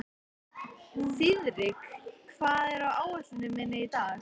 Þiðrik, hvað er á áætluninni minni í dag?